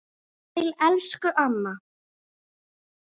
Sæl elsku amma.